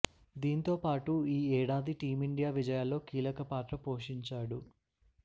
దీంతో పాటు ఈ ఏడాది టీమిండియా విజయాల్లో కీలక పాత్ర పోషించాడు